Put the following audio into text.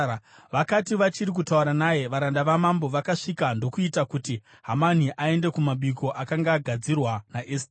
Vakati vachiri kutaura naye, varanda vamambo vakasvika ndokuita kuti Hamani aende kumabiko akanga agadzirwa naEsteri.